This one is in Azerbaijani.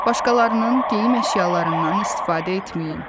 Başqalarının geyim əşyalarından istifadə etməyin.